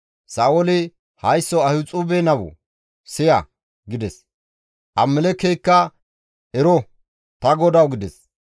Sa7ooli, «Haysso Ahixuube nawu! Siya» gides. Ahimelekeykka, «Ero, ta godawu» gides.